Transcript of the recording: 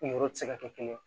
Yɔrɔ ti se ka kɛ kelen ye